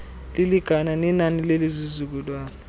lilingana nenani lezizukulwana